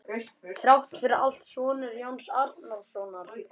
Þrátt fyrir allt ertu sonur Jóns Arasonar.